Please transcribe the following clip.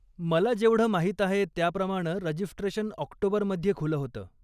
मला जेवढं माहीत आहे त्याप्रमाणं रजिस्ट्रेशन ऑक्टोबरमध्ये खुलं होतं.